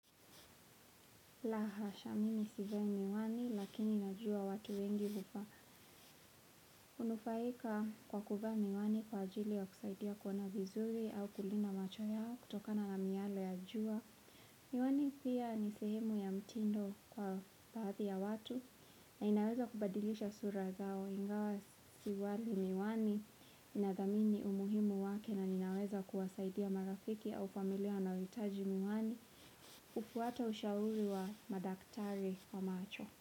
Lahasha mimi sivai miwani, lakini ninajua watu wengi huvaa hunufaika kwa kuvaa miwani kwa ajili ya kusaidia kuona vizuri au kulinda macho yao kutokana na miyale ya jua. Miwani pia ni sehemu ya mtindo kwa baadhi ya watu na inaweza kubadilisha sura zao. Ingawa sivai miwani, ninathamini umuhimu wake na ninaweza kuwasaidia marafiki au familia wanaohitaji miwani. Hufuata ushauri wa madaktari wa macho.